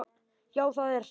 Já, það er það.